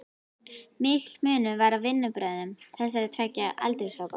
Mikill munur var á vinnubrögðum þessara tveggja aldurshópa.